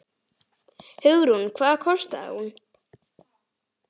Hugrún: Og hvað kostaði hún?